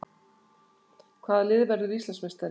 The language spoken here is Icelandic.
Hvaða lið verður Íslandsmeistari?